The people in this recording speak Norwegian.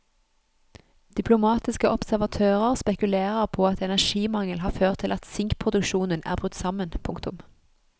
Diplomatiske observatører spekulerer på at energimangel har ført til at sinkproduksjonen er brutt sammen. punktum